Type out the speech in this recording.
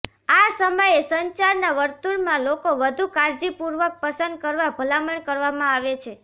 આ સમયે સંચારના વર્તુળમાં લોકો વધુ કાળજીપૂર્વક પસંદ કરવા ભલામણ કરવામાં આવે છે